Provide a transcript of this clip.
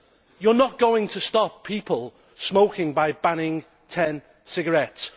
You are not going to stop people smoking by banning 10 cigarettes.